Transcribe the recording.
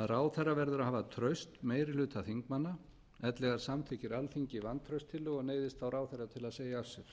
að ráðherra verður að hafa traust meiri hluta þingmanna ellegar samþykkir alþingi vantrauststillögu og neyðist þá ráðherra til að segja af sér